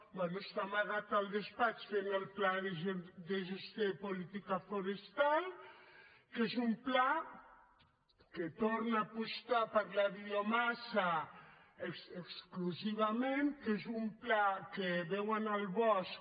bé està amagat al despatx fent el pla de gestió de política forestal que és un pla que torna a apostar per la biomassa exclusivament que és un pla que veu en el bosc